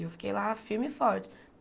E eu fiquei lá firme e forte.